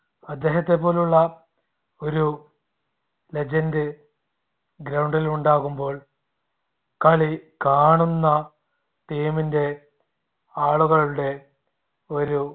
അദ്ദേഹത്തെ പോലുള്ള ഒരു legend ground ൽ ഉണ്ടാകുമ്പോൾ കളി കാണുന്ന team ന്റെ ആളുകളുടെ ഒരു